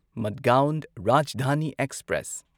Madgaon Rajdhani express